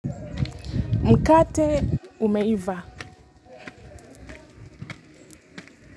Mkate umeiva.